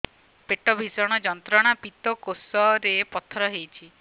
ପେଟ ଭୀଷଣ ଯନ୍ତ୍ରଣା ପିତକୋଷ ରେ ପଥର ହେଇଚି